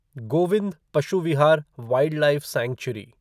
Govind Pashu Vihar wildlife sanctuary